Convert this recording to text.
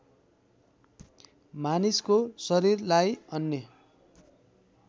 मानिसको शरीरलाई अन्य